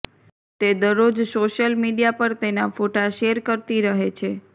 તે દરરોજ social media પર તેના ફોટા શેર કરતી રહે છે